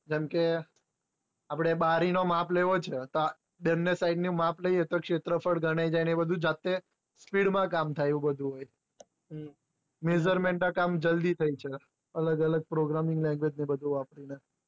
બને side નું માપ લઈએ તો ક્ષેત્રફળ ગણાય જાય તે speed માં કામ થાય એવું બધું measurement ના કામ જલ્દી થઇ જાય અલગ અલગ programming language ને એ બધું વાપરીને